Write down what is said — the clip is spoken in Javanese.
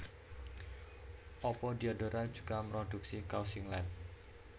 Apa Diadora juga mroduksi kaos singlet